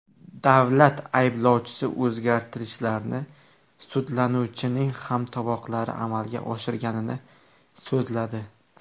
Davlat ayblovchisi o‘zgartirishlarni sudlanuvchining hamtovoqlari amalga oshirganini so‘zladi.